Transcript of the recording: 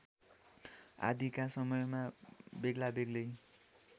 आदिका समयमा बेग्लाबेग्लै